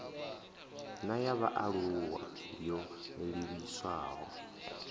na ya vhaalulwa yo livhiswaho